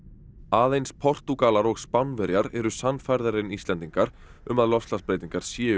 aðeins Portúgalar og Spánverjar eru sannfærðari en Íslendingar um að loftslagsbreytingar séu